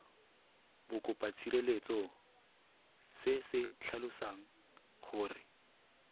bokopatshireletso se se tlhalosang gore